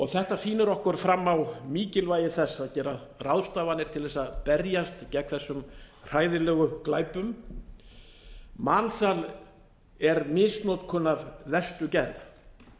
þetta sýnir okkur fram á mikilvægi þess að gera ráðstafanir til þess að berjast gegn þessum hræðilegu glæpum mansal er misnotkun af verstu gerð